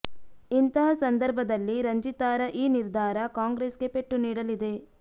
ಇಂತಹ ಸಂದರ್ಭದಲ್ಲಿ ರಂಜಿತಾರ ಈ ನಿರ್ಧಾರ ಕಾಂಗ್ರೆಸ್ ಗೆ ಪೆಟ್ಟು ನೀಡಲಿದೆ